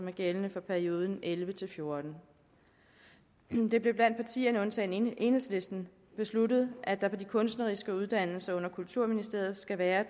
er gældende for perioden elleve til fjorten det blev blandt partierne undtagen enhedslisten besluttet at der på de kunstneriske uddannelser under kulturministeriet skal være